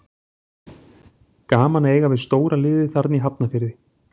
Gaman að eiga við stóra liðið þarna í Hafnarfirði.